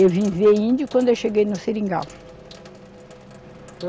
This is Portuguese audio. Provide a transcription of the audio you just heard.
Eu vim ver índio quando eu cheguei no Seringal.